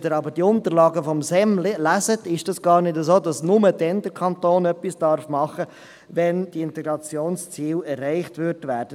Wenn Sie aber die Unterlagen des Staatssekretariats für Migration (SEM) lesen, ist es nicht so, dass der Kanton nur dann etwas machen darf, wenn die Integrationsziele erreicht werden.